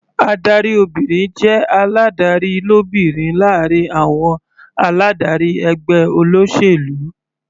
Adarí obìnrin jẹ́ aládarí lóbìnrin láàrin àwọn aládarí ẹgbẹ́ olóṣèlú.